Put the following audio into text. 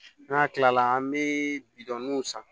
N'a kilala an bɛ bidɔnninw san